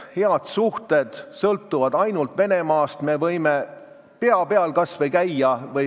Head suhted sõltuvad ainult Venemaast, meie võime kas või pea peal käia.